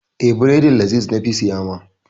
Eh, bredin laziz na fi siya ma.